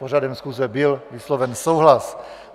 S pořadem schůze byl vysloven souhlas.